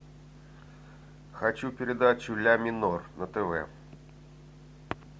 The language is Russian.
хочу передачу ля минор на тв